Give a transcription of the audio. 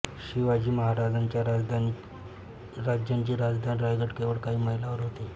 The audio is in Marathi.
शिवाजी महाराजांच्या राज्याची राजधानी राजगड केवळ काही मैलांवर होती